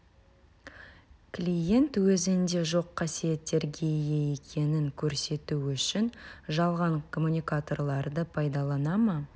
клиент өзінде жоқ қасиеттерге ие екенін көрсету үшін жалған коммуникаторларды пайдалана ма